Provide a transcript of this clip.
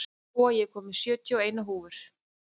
Jóa, ég kom með sjötíu og eina húfur!